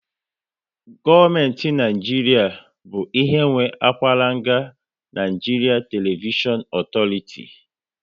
Gọọmenti Naijiria bụ ihe nwe akwaranga Nigeria Television Authority